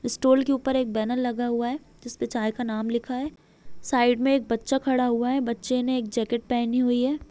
Stall के ऊपर एक बैनर लगा हुआ है जिस पे चाय का नाम लिखा हुआ है साइड में एक बच्चा खड़ा हुआ है बच्चे ने एक जैकेट पेहनी हुई है।